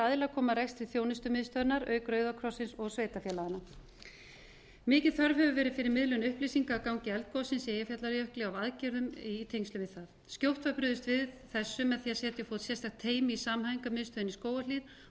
aðilar koma að rekstri þjónustumiðstöðvarinnar auk rauðakrossins og sveitarfélaganna mikil þörf hefur verið á að miðlun upplýsingagangi eldgossins í eyjafjallajökli á aðgerðum og í tengslum við það skjótt var brugðist við þessu með því að setja á fót sérstakt teymi í samhæfingarmiðstöðinni í skógarhlíð og